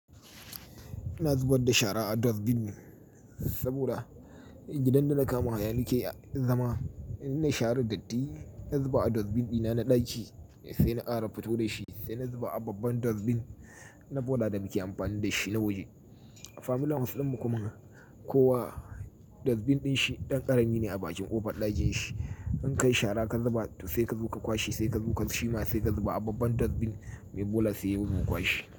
Ina zubar da shara a dustbin saboda gidan da da na kama nake zama. Ina share datti, in zuba a dustbin dina na ɗaki sai na ƙara fito da shi, sai na zuba a babban dustbin na bola da muke amfani da shi na waje. Family house din mu kuma, kowa dustbin din shi dan karami be a bakin kofar dating shi In kai shara ka zuba sai ka zo ka ƙwashi, sai ka zo ka shima, sai ka zuba a babban dustbin mai bola sai ya zo ƙwashi.